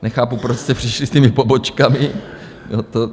Nechápu, proč jste přišli s těmi pobočkami.